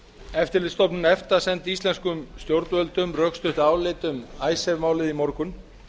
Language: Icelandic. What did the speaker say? eftirlitsstofnun efta sendi íslenskum stjórnvöldum rökstutt álit um icesave málið í morgun